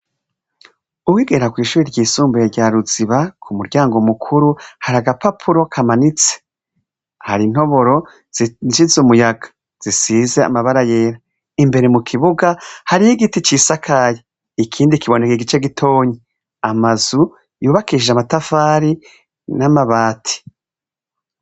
Uwigera kw'ishuri ry'isumbuye rya ruziba ku muryango mukuru hari agapapuro kamanitse, hari intoboro zisize umuyaga ,zisize amabara yera imbere mu kibuga harih'igiti c'isakaye, ikindi kiboneke gice gitonyi, amazu yubakishije amatafari n'amabati.